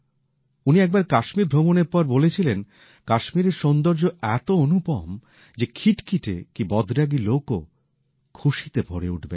উনি একবার কাশ্মীর ভ্রমণের পর বলেছিলেন কাশ্মীরের সৌন্দর্য এতো অনুপম যে খিটখিটে কি বদরাগী লোকও খুশিতে ভরে উঠবেন